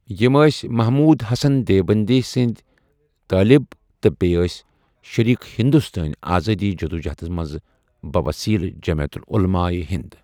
یِم ٲسۍ محمود حَسن دیوبَندی سٕنٛدۍ طٲلب تہٕ بییہِ أسی شریٖک ہندوستٲنی آزأدی جدوجہد منٛز بَہ وسیٖلہٕ جمعیت عُلماء ہِند۔